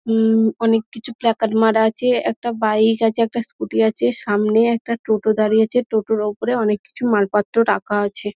উমঃ অনেক কিছু প্ল্যাকার্ড মারা আছে একটা বাইক আছে একটা স্কুটি আছে সামনে একটা টোটো দাঁড়িয়ে আছে টোটোর ওপরে অনেক কিছু মালপত্র রাখা আছে।